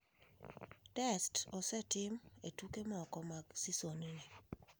Test osetim e tuke moko mag seson ni.